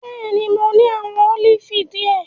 Bẹẹni, Mo ni awọn olifi diẹ.